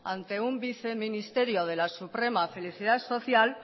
ante un viceministerio de la suprema felicidad social